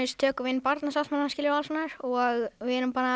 tökum við inn Barnasáttmálann og alls konar og við erum